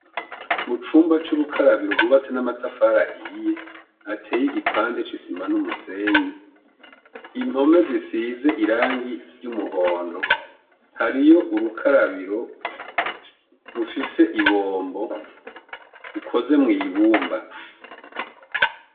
Mu cumba c'urukarabiro rwubatse n'amatafari ahiye hateye igipande c'isima n'umusenyi, impome zisize irangi ry'umuhondo, hariyo urukarabiro rufise ibombo, ukoze mw'ibumba.